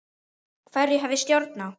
Hverju hef ég stjórn á?